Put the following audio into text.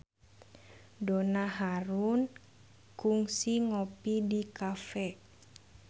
Donna Harun kungsi ngopi di cafe